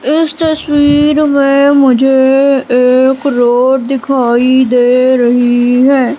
इस तस्वीर में मुझे एक रोड दिखाई दे रही है।